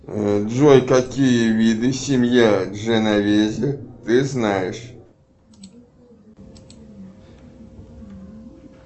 джой какие виды семья дженовези ты знаешь